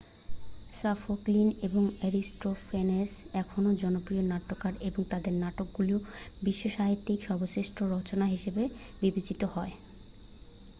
Sophocles এবং Aristophanes এখনও জনপ্রিয় নাট্যকার এবং তাদের নাটকগুলি বিশ্বসাহিত্যে সর্বশ্রেষ্ঠ রচনা হিসেবে বিবেচিত হয়